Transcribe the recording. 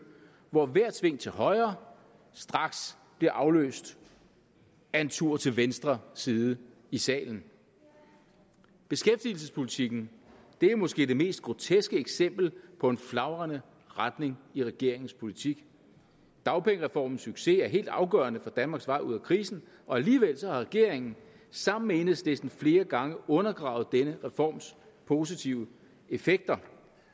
hvor hvert sving til højre straks bliver afløst af en tur til venstre side i salen beskæftigelsespolitikken er måske det mest groteske eksempel på en flagrende retning i regeringens politik dagpengereformens succes er helt afgørende for danmarks vej ud af krisen og alligevel har regeringen sammen med enhedslisten flere gange undergravet denne reforms positive effekter